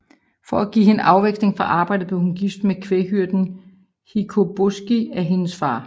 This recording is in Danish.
For at give hende afveksling fra arbejdet blev hun gift med kvæghyrden Hikoboski af hendes far